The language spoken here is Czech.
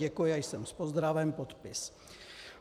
Děkuji a jsem s pozdravem, podpis.